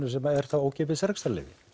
sem er þá ókeypis rekstrarleyfi